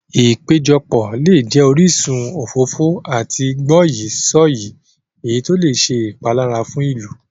Ìpéjọpọ̀ lè jẹ orísun òfófó àti gbọ́yìí-sọ̀yìí, èyí tó lè ṣe ìpalára fún ìlú.